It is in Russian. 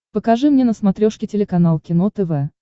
покажи мне на смотрешке телеканал кино тв